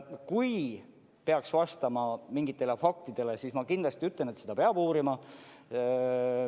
Kui see peaks vastama mingitele faktidele, siis ma kindlasti ütlen, et seda peab uurima.